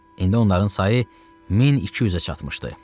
İndi onların sayı 1200-ə çatmışdı.